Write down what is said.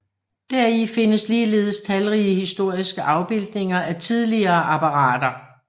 Deri findes ligeledes talrige historiske afbildninger af tidlige apparater